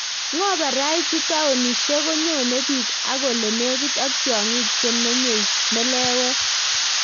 Ngo paraitu taonishek konyone bik ak ole negit ak tiongik chemenyei meleewet